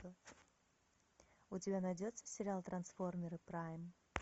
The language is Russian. у тебя найдется сериал трансформеры прайм